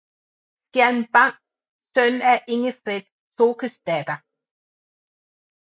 Skjalm Bang søn af Ingefred Tokesdatter